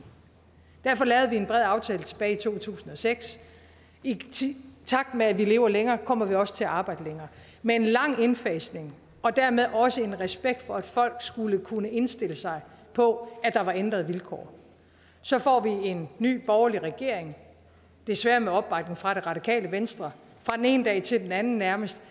derfor lavede vi en bred aftale tilbage to tusind og seks i takt med at vi lever længere kommer vi også til at arbejde længere med en lang indfasning og dermed også en respekt for at folk skulle kunne indstille sig på at der var ændrede vilkår så får vi en ny borgerlig regering desværre med opbakning fra det radikale venstre fra den ene dag til den anden nærmest